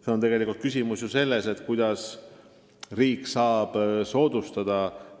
See on tegelikult küsimus sellest, kuidas riik saab soodustada